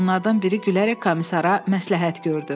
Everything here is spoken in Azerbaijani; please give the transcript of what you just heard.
Onlardan biri gülərək komissara məsləhət gördü.